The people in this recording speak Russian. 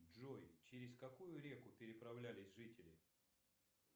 джой через какую реку переправлялись жители